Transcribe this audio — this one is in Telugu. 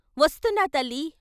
"వస్తున్నా తల్లీ.....